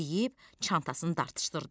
Deyib çantasını dartışdırdı.